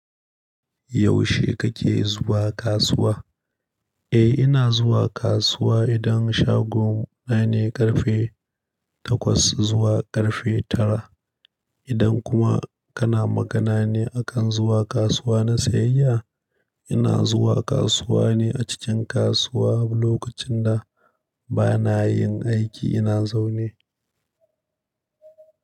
Yaushe kake zuwa kasuwa? Eh ina zuwa kasuwa idan shagon na ne ƙarfe takwas zuwa ƙarfe tara. Idan kuma kana magana ne akan zuwa kasuwa na siyayya, ina zuwa kasuwa ne a cikin kasuwa lokacin da bana yin aiki ina zaune.